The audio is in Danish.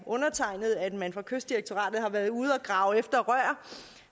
undertegnede at man fra kystdirektoratet har været ude og grave efter rør